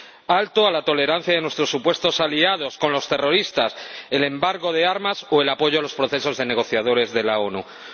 Alto a la tolerancia de nuestros supuestos aliados con los terroristas, el embargo de armas o el apoyo a los procesos de negociadores de las Naciones Unidas.